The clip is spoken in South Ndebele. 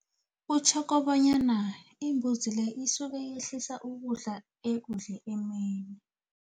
Kutjho bonyana imbuzi le isuke yehlisa ukudla ekudle emini.